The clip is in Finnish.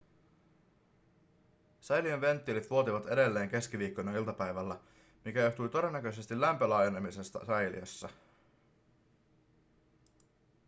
säiliön venttiilit vuotivat edelleen keskiviikkona iltapäivällä mikä johtui todennäköisesti lämpölaajenemisesta säiliössä